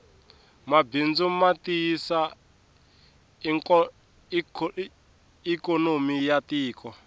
mabindzu matiyisa ikonomi yatiko